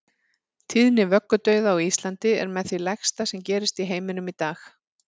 Tíðni vöggudauða á Íslandi er með því lægsta sem gerist í heiminum í dag.